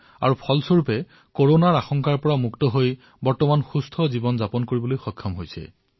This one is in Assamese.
ইয়াৰ ফলস্বৰূপেই তেওঁ আজি সুস্থ হৈ সাধাৰণ জীৱনযাপন কৰি আছে